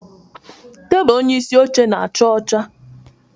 Tebụl onyeisi oche na-acha ọcha